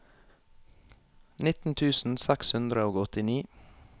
nitten tusen seks hundre og åttini